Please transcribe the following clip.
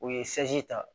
U ye ta